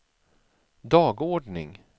dagordning